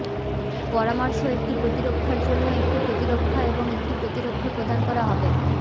পরামর্শ একটি প্রতিরক্ষার জন্য একটি প্রতিরক্ষা এবং একটি প্রতিরক্ষা প্রদান করা হবে